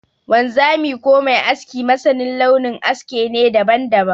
Wanzami ko mai aski masanin launin aske ne daban-daban.